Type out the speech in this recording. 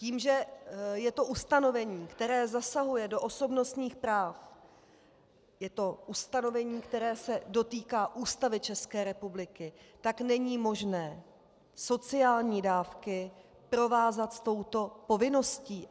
Tím, že je to ustanovení, které zasahuje do osobnostních práv, je to ustanovení, které se dotýká Ústavy České republiky, tak není možné sociální dávky provázat s touto povinností.